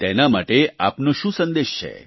તેના માટે આપનો શું સંદેશ છે